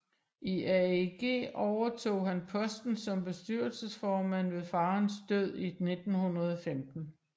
I AEG overtog han posten som bestyrelsesformand ved farens død i 1915